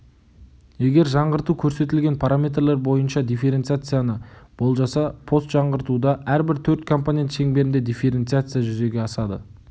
егер жаңғырту көрсетілген параметрлер бойынша дифференциацияны болжаса постжаңғыртуда әрбір төрт компонент шеңберінде дифференциация жүзеге асады